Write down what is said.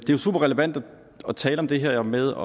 jo superrelevant at tale om det her med